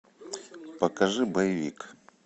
покажи боевик